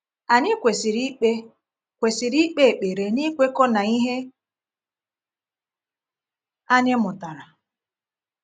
Anyị kwesịrị ikpe kwesịrị ikpe ekpere n’ikwekọ na ihe anyị mụtara.